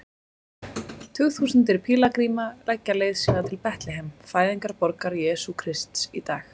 Tugþúsundir pílagríma leggja leið sína til Betlehem, fæðingarborgar Jesú Krists í dag.